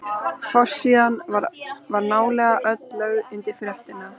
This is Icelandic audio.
Forsíðan var nálega öll lögð undir fréttina.